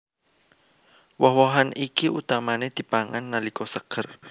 Woh wohan iki utamané dipangan nalika seger